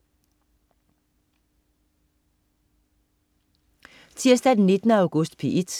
Tirsdag den 19. august - P1: